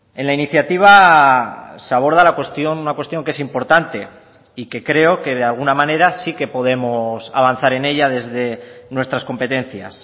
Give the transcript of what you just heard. en la iniciativa se aborda la cuestión una cuestión que es importante y que creo que de alguna manera sí que podemos avanzar en ella desde nuestras competencias